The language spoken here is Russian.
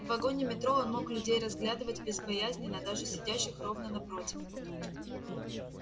в вагоне метро он мог людей разглядывать безбоязненно даже сидящих ровно напротив